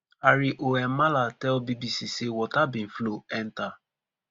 hari om malla tell bbc say water bin flow enta